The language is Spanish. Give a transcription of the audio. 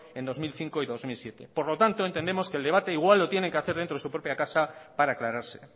en el dos mil cinco y dos mil siete por lo tanto entendemos que el debate igual lo tienen que hacer dentro de su propia casa para aclararse